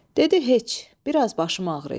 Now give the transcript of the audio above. Dedi heç, biraz başım ağrıyır.